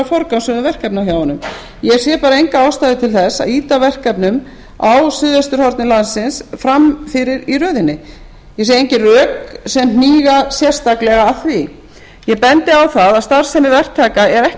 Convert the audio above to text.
forgangsröðun verkefna hjá honum ég sé bara enga ástæðu til þess að ýta verkefnum á suðvesturhorni landsins fram fyrir í röðinni ég sé engin rök sem hníga sérstaklega að því eg bendi á það að starfsemi verktaka er ekki